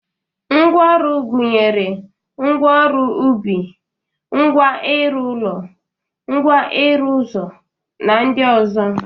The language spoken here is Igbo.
Ngwa ọrụ gụnyere ngwa ọrụ ubi, ngwa ịrụ ụlọ, ngwa ịrụ ụzọ na ndị ọzọ